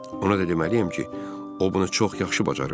Ona da deməliyəm ki, o bunu çox yaxşı bacarırdı.